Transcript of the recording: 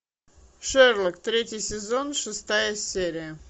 шерлок третий сезон шестая серия